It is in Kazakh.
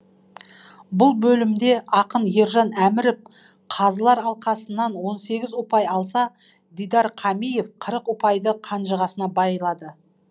бұл бөлімде ақын ержан әміров қазылар алқасынан он сегіз ұпай алса дидар қамиев қырық ұпайды қанжығасына байлады